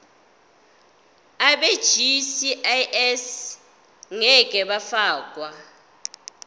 abegcis ngeke bafakwa